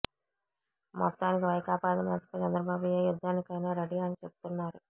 మొత్తానికి వైకాపా అధినేతపై చంద్రబాబు ఏ యుద్ధానికైనా రెడీ అని చెబుతున్నారు